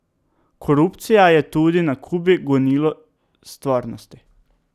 Korupcija je tudi na Kubi gonilo stvarnosti.